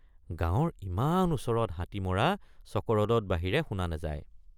গাঁৱৰ ইমান ওচৰত হাতী মৰা চকৰদত বাহিৰে শুনা নাযায়।